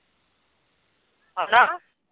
ਹੈਨਾ।